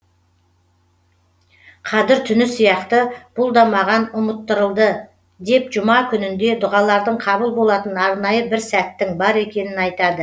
қадір түні сияқты бұл да маған ұмыттырылды деп жұма күнінде дұғалардың қабыл болатын арнайы бір сәттің бар екенін айтады